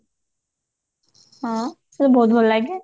ହଁ ସେ ବହୁତ ଭଲ ଲାଗେ